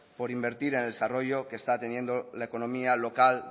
por invertir en desarrollo la economía local